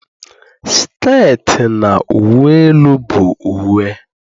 sket na uwe elu bụ uwe